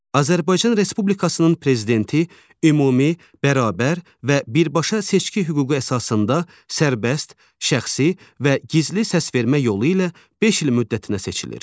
Azərbaycan Respublikasının Prezidenti ümumi, bərabər və birbaşa seçki hüququ əsasında sərbəst, şəxsi və gizli səsvermə yolu ilə beş il müddətinə seçilir.